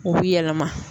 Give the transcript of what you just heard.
U bi yɛlɛma